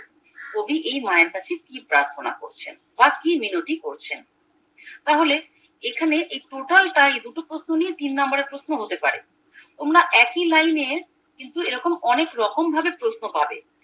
কবি এই মায়ের কাছে কি প্রার্থনা করছেন বা কি মিনতি করছেন তাহলে এখানে এই total টাই দুটো প্রশ্ন নিয়ে তিন নাম্বারের প্রশ্ন হতে পারে তোমরা একই লাইনে কিন্তু এরকম অনেক রকম ভাবে প্রশ্ন পাবে